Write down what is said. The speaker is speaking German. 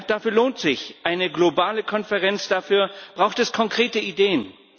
Dafür lohnt sich eine globale Konferenz, dafür braucht es konkrete Ideen.